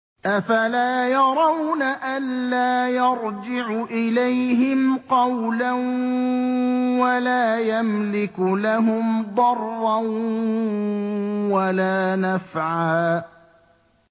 أَفَلَا يَرَوْنَ أَلَّا يَرْجِعُ إِلَيْهِمْ قَوْلًا وَلَا يَمْلِكُ لَهُمْ ضَرًّا وَلَا نَفْعًا